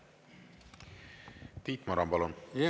Tiit Maran, palun!